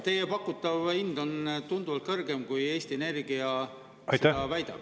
Teie pakutav hind on tunduvalt kõrgem kui Eesti Energia ise väidab.